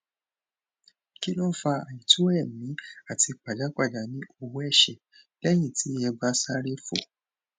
kí ló ń fa àìto eemi àti pajapajà ní ọwọẹsẹ lẹyìn tí ẹ bá sáréfò